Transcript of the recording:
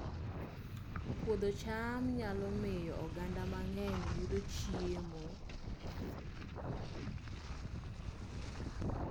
Puodho cham nyalo miyo oganda mang'eny oyud chiemo